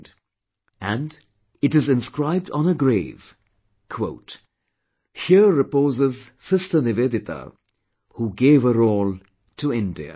And, it is inscribed on her grave "Here reposes Sister Nivedita who gave her all to India"